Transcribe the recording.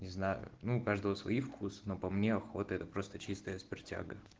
не знаю ну у каждого свои вкусы но по мне охота это просто чистая спиртяга